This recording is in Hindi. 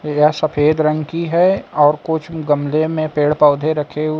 यह सफेद रंग की है और कुछ गमले में पेड़ पौधे रखे हुए--